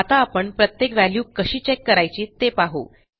आता आपण प्रत्येक व्हॅल्यू कशी चेक करायची ते पाहू